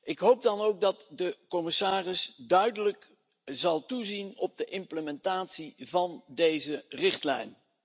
Ik hoop dan ook dat de commissaris duidelijk zal toezien op de implementatie van deze richtlijn.